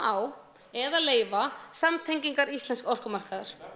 á eða leyfa samtengingar íslensks orkumarkaðar